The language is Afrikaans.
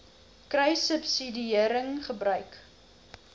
kruissubsidiëringgebruik